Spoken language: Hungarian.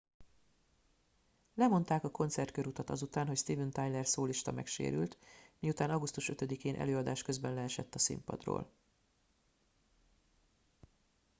lemondák a koncertkörutat azután hogy steven tyler szólista megsérült miután augusztus 5 én előadás közben leesett a színpadról